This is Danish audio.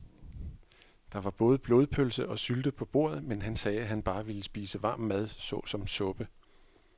Der var både blodpølse og sylte på bordet, men han sagde, at han bare ville spise varm mad såsom suppe.